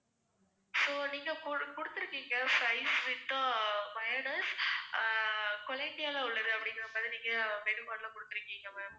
so நீங்க குடு~ குடுத்துருக்கீங்க fries with mayonnaise ஆஹ் கொலம்பியால உள்ளது அப்படிங்கிற மாதிரி நீங்க menu card ல குடுத்துருக்கீங்க ma'am